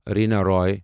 Reena Roy